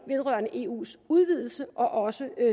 vedrørende eus udvidelse og også